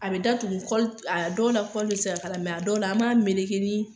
A bɛ da tugu kɔli, a dɔw la kɔli bɛ se k'a la mɛ a dɔw la an b'a meleke ni